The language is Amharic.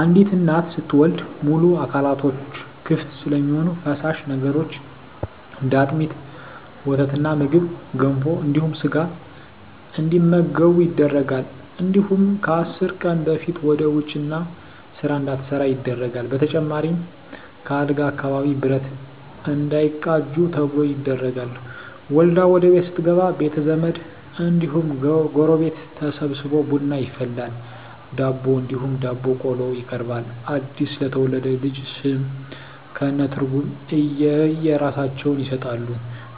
አንዲት እናት ስትወልድ ሙሉ አካላቶች ክፍት ስለሚሆኑ ፈሳሽ ነገሮች እንደ አጥሚት: ወተትና ምግብ ገንፎ እንዲሁም ስጋ እንዲመገቡ ይደረጋል እንዲሁም ከአስር ቀን በፊት ወደ ውጭ እና ስራ እንዳትሠራ ይደረጋል በተጨማሪም ከአልጋ አካባቢ ብረት እንዳይቃጁ ተብሎ ይደረጋል። ወልዳ ወደቤት ስትገባ ቤተዘመድ እንዲሁም ጎረቤት ተሠብስቦ ቡና ይፈላል ዳቦ እንዲሁም ዳቦ ቆሎ ይቀርባል አድስ ለተወለደው ልጅ ስም ከእነ ትርጉም የእየራሳቸውን ይሠጣሉ